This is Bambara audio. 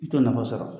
I t'o nafa sɔrɔ